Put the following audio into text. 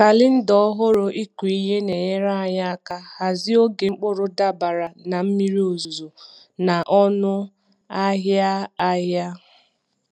Kalenda ọhụrụ ịkụ ihe na-enyere anyị aka hazie oge mkpụrụ dabere na mmiri ozuzo na ọnụ ahịa ahịa.